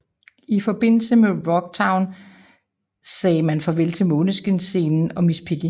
I forbindelse med Rocktown sagde man farvel til Måneskinsscenen og Miss Piggy